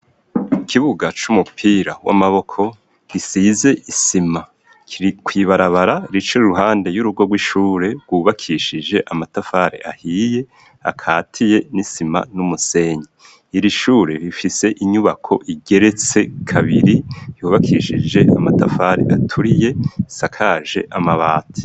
Ikibuga c'umupira w'amaboko, gisize isima kuibarabara rica iruhande y'urugo rw'ishure rwubakishije amatafare ahiye, akatiye n'isima n'umusenyi iri shure rifise inyubako igeretse kabiri yubakishije amatafari aturiye isakaje amabati.